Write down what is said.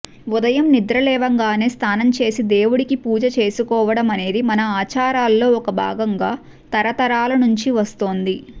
ఉదయం నిద్రలేవగానే స్నానంచేసి దేవుడికి పూజ చేసుకోవడమనేది మన ఆచారాల్లో ఒక భాగంగా తరతరాల నుంచి వస్తోంది